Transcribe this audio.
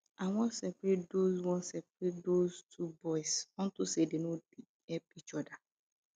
i wan seperate those wan seperate those two boys unto say dey no help each other